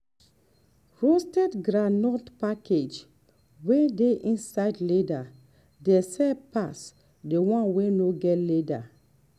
roasted groundnut packaged wey dey inside leather dey sell pass the one wey no get leather